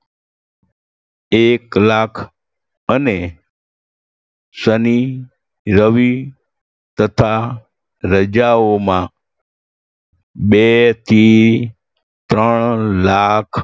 એક લાખ અને શનિ, રવિ તથા રજાઓમાં બેથી ત્રણ લાખ